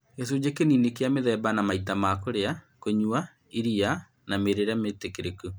gĩcunjĩ kĩnini kĩa mĩthemba na maita ma kũrĩa , kũnyua iria na mĩrĩĩre mĩĩtĩkĩrĩku